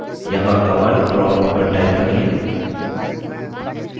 यहाँ command prompt पर type करिये